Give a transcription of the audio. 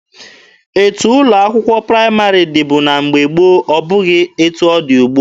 Etu ụlọ akwụkwọ praịmarị dịbu na mgbe gboo abụghị etu ọ dị ugbua.